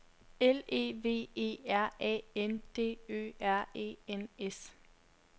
L E V E R A N D Ø R E N S